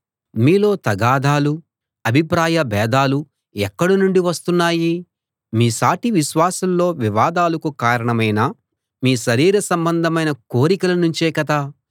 మీలో తగాదాలూ అభిప్రాయభేదాలూ ఎక్కడ నుండి వస్తున్నాయి మీ సాటి విశ్వాసుల్లో వివాదాలకు కారణమైన మీ శరీర సంబంధమైన కోరికల నుంచే కదా